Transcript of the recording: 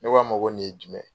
Ne k'a ma ko nin ye jumɛn ye.